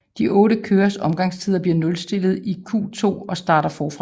De 8 kørers omgangstider bliver nulstillet i Q2 og starter forfra